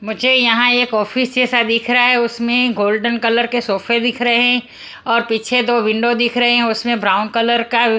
मुझे यहां एक ऑफिस जैसा दिख रहा है उसमे गोल्डन कलर के सोफे दिख रहे है और पीछे दो विंडो दिख रहे उसमे ब्राउन कलर का--